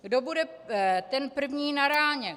Kdo bude ten první na ráně?